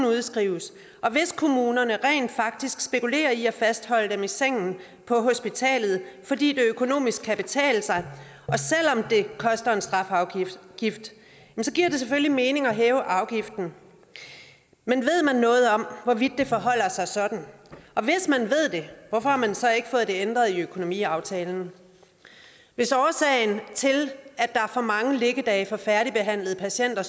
udskrives og hvis kommunerne rent faktisk spekulerer i at fastholde dem i sengen på hospitalet fordi det økonomisk kan betale sig selv om det koster en strafafgift så giver det selvfølgelig mening at hæve afgiften men ved man noget om hvorvidt det forholder sig sådan og hvis man ved det hvorfor har man så ikke fået det ændret i økonomiaftalen hvis årsagen til at der er for mange liggedage for færdigbehandlede patienter